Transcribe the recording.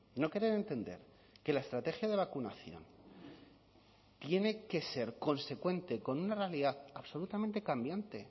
no querer entender que la estrategia de vacunación tiene que ser consecuente con una realidad absolutamente cambiante